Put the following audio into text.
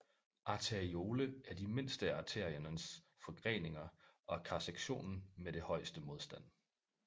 Arteriole er de mindste af arteriens forgreninger og karsektionen med det højeste modstand